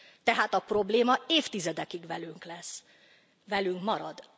Tehát a probléma évtizedekig velünk lesz, velünk marad.